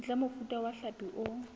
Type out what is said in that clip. ntle mofuta wa hlapi o